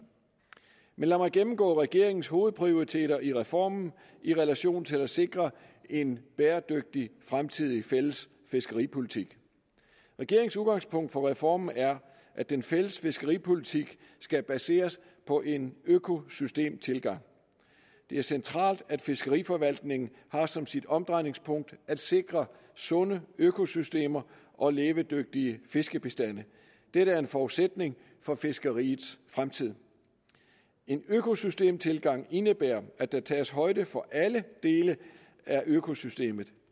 lad mig gennemgå regeringens hovedprioriteter i reformen i relation til at sikre en bæredygtig fremtidig fælles fiskeripolitik regeringens udgangspunkt for reformen er at den fælles fiskeripolitik skal baseres på en økosystemtilgang det er centralt at fiskeriforvaltningen har som sit omdrejningspunkt at sikre sunde økosystemer og levedygtige fiskebestande dette er en forudsætning for fiskeriets fremtid en økosystemtilgang indebærer at der tages højde for alle dele af økosystemet